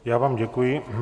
Já vám děkuji.